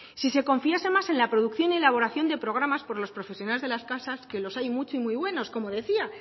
si se confiase más en la producción y elaboración de programas por los profesionales de las casas que los hay muchos y muy buenos como decía